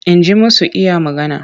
Inji masu iya magana.